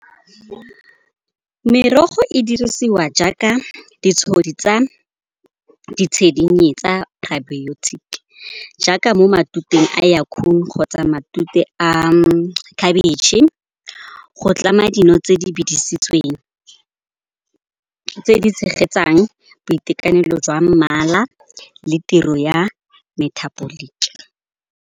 Merogo e dirisiwa jaaka ditshedinyana tsa jaaka mo matuteng a kgotsa matute a khabetšhe. Go tlama dino tse di bidisitsweng, tse di tshegetsang boitekanelo jwa mmala le tiro ya metabolic.